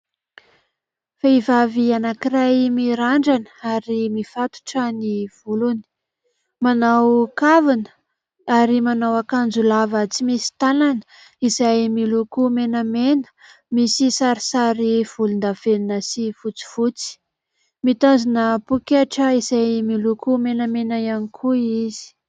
Vehivavy anankiray, mirandrana ary mifatotra ny volony ; manao kavina ; ary manao akanjo lava tsy misy tànana izay miloko menamena misy sarisary volondavenona sy fotsifotsy ; mitazona pôketra izay miloko menamena ihany koa izy.